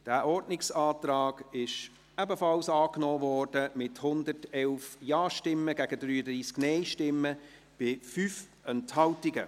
Dieser Ordnungsantrag wurde ebenfalls angenommen, mit 111 Ja- gegen 33 Nein-Stimmen bei 5 Enthaltungen.